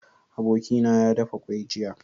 Abokina ya dafa kwai jiya